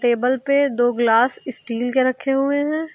Table पे दो गिलास स्टील के रखे हुए हैं।